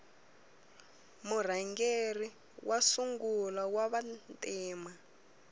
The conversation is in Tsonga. murhangeri wa sungula wava ntima